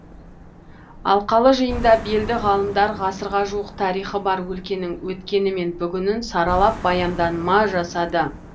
алқалы жиында белді ғалымдар ғасырға жуық тарихы бар өлкенің өткені мен бүгінін саралап баяндама жасады